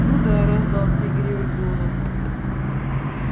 ну да раздался игривый голос